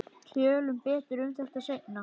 Tölum betur um þetta seinna.